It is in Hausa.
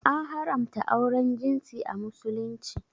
An haramta auren jinsi a Musulunci.